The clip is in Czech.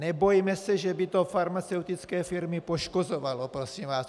Nebojme se, že by to farmaceutické firmy poškozovalo, prosím vás.